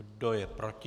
Kdo je proti?